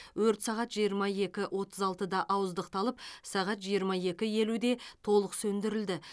өрт сағат жиырма екі отыз алтыда ауыздықталып сағат жиырма екі елуде толық сөндірілді